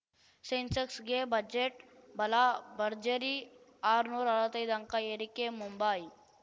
ಸೆನ್ಸೆಕ್ಸ್‌ಗೆ budget ಬಲ ಭರ್ಜರಿ ಆರ್ನ್ನೂರ ಅರ್ವತ್ತೈದು ಅಂಕ ಏರಿಕೆ ಮುಂಬೈ